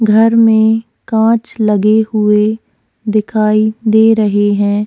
घर में कांच लगे हुए दिखाई दे रहे हैं।